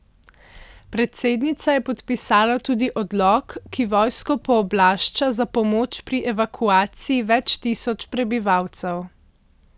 Predsednica je podpisala tudi odlok, ki vojsko pooblašča za pomoč pri evakuaciji več tisoč prebivalcev.